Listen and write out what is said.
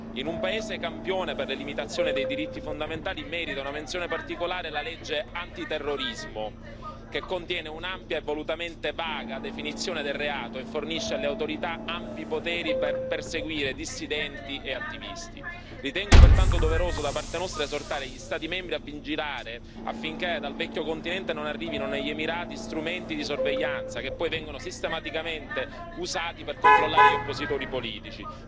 In un paese campione per la limitazione dei diritti fondamentali, merita una menzione particolare la legge antiterrorismo, che contiene un'ampia e volutamente vaga definizione del reato e fornisce alle autorità ampi poteri per perseguire dissidenti e attivisti. Ritengo pertanto doveroso, da parte nostra, esortare gli Stati membri a vigilare affinché dal Vecchio continente non arrivino negli Emirati strumenti di sorveglianza, che poi vengono sistematicamente usati per controllare gli oppositori politici.